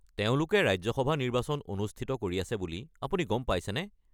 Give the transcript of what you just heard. তেওঁলোকে ৰাজ্য সভা নিৰ্বাচন অনুষ্ঠিত কৰি আছে বুলি আপুনি গম পাইছেনে?